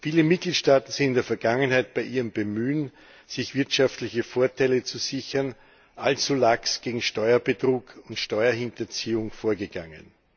Viele Mitgliedstaaten sind in der Vergangenheit bei ihrem Bemühen, sich wirtschaftliche Vorteile zu sichern, allzu lax gegen Steuerbetrug und Steuerhinterziehung vorgegangen.